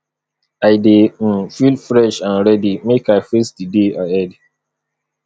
i dey um feel fresh and ready make i face di day ahead